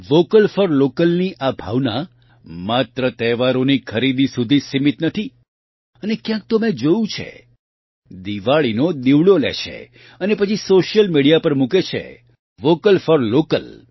vocal for લોકલની આ ભાવના માત્ર તહેવારોની ખરીદી સુધી જ સીમીત નથી અને ક્યાંક તો મેં જોયું છે દિવાળીનો દિવડો લે છે અને પછી સોશિયલ મિડિયા પર મૂકે છે વોકલ ફોર લોકલ